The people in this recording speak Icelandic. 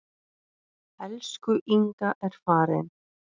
Elsku Inga er farin.